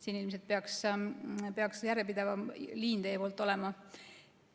Siin ilmselt peaks teil järjepidevam liin olema.